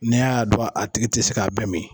N'i y'a dɔn a tigi ti se ka bɛɛ min.